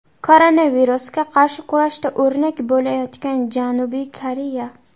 Koronavirusga qarshi kurashda o‘rnak bo‘layotgan Janubiy Koreya.